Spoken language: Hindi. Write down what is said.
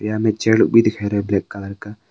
यह में ब्लैक कलर का।